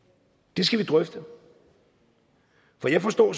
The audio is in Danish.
det skal vi drøfte for jeg forstår